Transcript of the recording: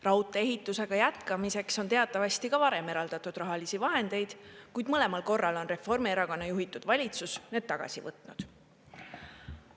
Raudtee-ehitusega jätkamiseks on teatavasti ka varem eraldatud rahalisi vahendeid, kuid mõlemal korral on Reformierakonna juhitud valitsus need tagasi võtnud.